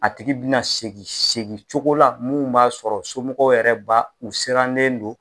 A tigi bina segin segin cogo la mun b'a sɔrɔ somɔgɔw yɛrɛ ba u sirannen don.